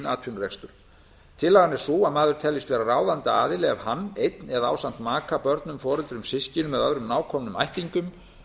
atvinnurekstur tillagan er sú að maður teljist ráðandi aðili ef hann einn eða ásamt maka börnum foreldrum systkinum eða öðrum nákomnum ættingjum